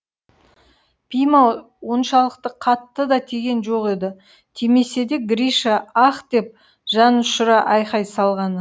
пима оншалықты қатты да тиген жоқ еді тимесе де гриша аһ деп жанұшыра айқай салғаны